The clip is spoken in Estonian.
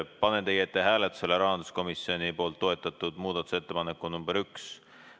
Panen teie ette hääletusele rahanduskomisjoni toetatud muudatusettepaneku nr 1.